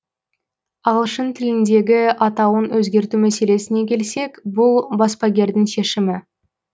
ағылшын тіліндегі атауын өзгерту мәселесіне келсек бұл баспагердің шешімі